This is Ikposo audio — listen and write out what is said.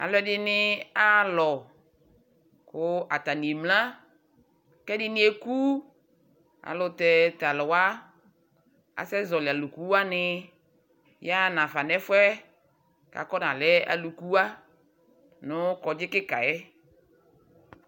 alʋɛɖini ahalɔ kʋ atani emlea kɛɖini ekʋʋ alʋtɛ talʋwa asɛ ƶɔli ɔlʋkʋwani yaha naƒa nɛƒʋɛ kakɔ nalɛ ɔlʋkʋwa nʋ ɔgbaɖƶa be yɛ